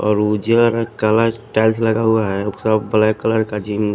और वो chair colour tiles बराबर हैसब वाइट कलर का --